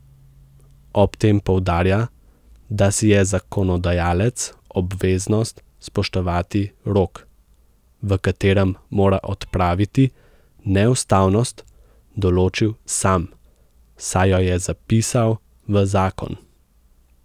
Ob tem poudarja, da si je zakonodajalec obveznost spoštovati rok, v katerem mora odpraviti neustavnost, določil sam, saj jo je zapisal v zakon.